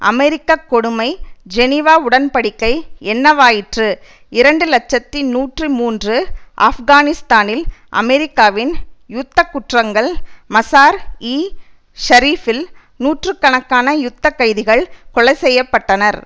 அமெரிக்க கொடுமை ஜெனிவா உடன் படிக்கை என்னவாயிற்று இரண்டு இலட்சத்தி நூற்றி மூன்று ஆப்கானிஸ்தானில் அமெரிக்காவின் யுத்த குற்றங்கள் மஸார் இ ஷரீபில் நூற்று கணக்கான யுத்த கைதிகள் கொலைசெய்யப்பட்டனர்